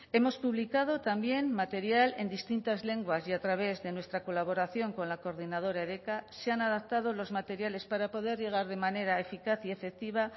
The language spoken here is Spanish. hemos publicado también material en distintas lenguas y a través de nuestra colaboración con la coordinadora edeka se han adaptado los materiales para poder llegar de manera eficaz y efectiva